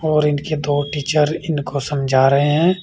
और इनके दो टीचर इनको समझा रहे हैं।